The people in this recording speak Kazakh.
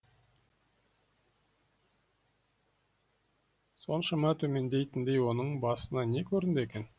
соншама төмендейтіндей оның басына не көрінді екен